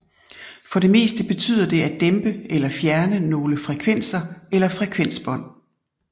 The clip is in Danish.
For det meste betyder det at dæmpe eller fjerne nogle frekvenser eller frekvensbånd